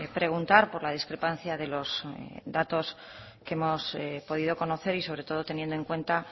preguntar por la discrepancia de los datos que hemos podido conocer y sobre todo teniendo en cuenta